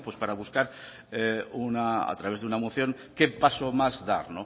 pues para buscar a través de una moción qué pasos más dar